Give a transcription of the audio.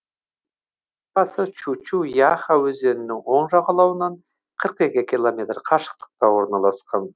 өзен сағасы чучу яха өзенінің оң жағалауынан қырық екі километр қашықтықта орналасқан